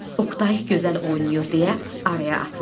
Oqtay gözəl oynayır deyə araya atılır.